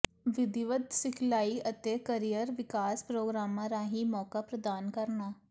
ਵਿਧੀਵਤ ਸਿਖਲਾਈ ਅਤੇ ਕਰੀਅਰ ਵਿਕਾਸ ਪ੍ਰੋਗਰਾਮਾਂ ਰਾਹੀਂ ਮੌਕਾ ਪ੍ਰਦਾਨ ਕਰਨਾ